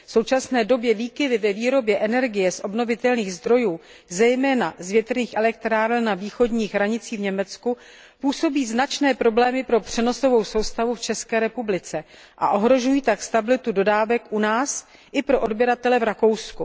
V současné době výkyvy ve výrobě energie z obnovitelných zdrojů, zejména z větrných elektráren na východních hranicích v Německu, působí značné problémy pro přenosovou soustavu v České republice a ohrožují tak stabilitu dodávek u nás i pro odběratele v Rakousku.